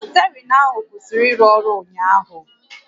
Stierịng ahụ kwụsịrị ịrụ ọrụ ụnyaahụ